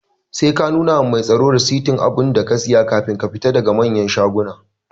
Sai ka nuna wa mai tsaro rasitin abunda ka siya kafin ka fita daga manyan shaguna